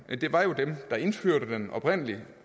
det var jo dem der indførte den oprindelig